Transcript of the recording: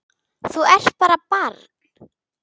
Þú ert bara barn.